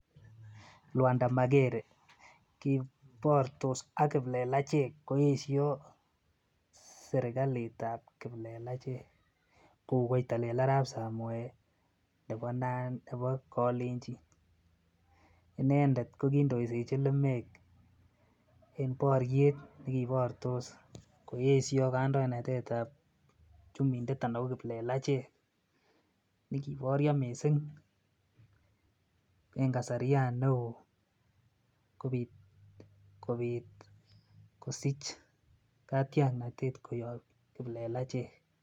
Lwanda magere kiportos ak kiplelachek koesyoo serkaliit ab kiplelachek kouu koitolel arab samoe nebo nandi nebo kolenjin inendet ko gindoisechin lumeek en boryeet negiwoktos koesyoo kandoinatet ab chumindet anan ko kiplelachek negiboryo kot mising en kasaryaan neoo kobiit kosiich katyaknatet koyoob kiplelachek